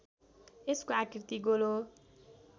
यसको आकृति गोलो